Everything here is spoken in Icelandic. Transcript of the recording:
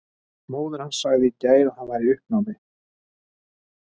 Móðir hans sagði í gær að hann væri í uppnámi.